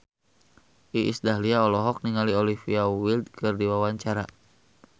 Iis Dahlia olohok ningali Olivia Wilde keur diwawancara